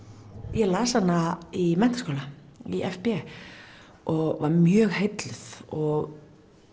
ég las hana í menntaskóla í f b og var mjög heilluð og